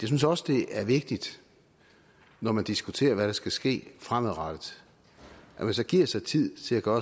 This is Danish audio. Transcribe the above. synes også det er vigtigt når man diskuterer hvad der skal ske fremadrettet at man så giver sig tid til at gøre